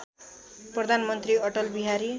प्रधानमन्त्री अटल बिहारी